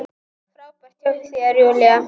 Frábært hjá þér, Júlía!